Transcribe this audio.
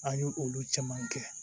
An y'o olu caman kɛ